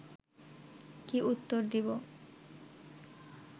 কি উত্তর দিব